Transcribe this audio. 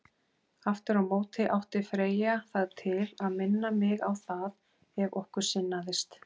Aftur á móti átti Freyja það til að minna mig á það, ef okkur sinnaðist.